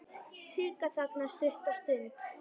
Sigga þagnar stutta stund.